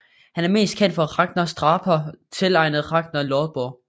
Han er mest kendt for Ragnarsdrápa tilegnet Ragnar Lodbrog